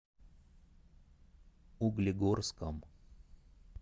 углегорском